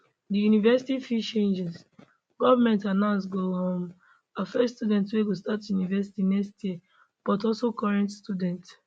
di university fees changes government announce go um affect students wey go start university next year but also current students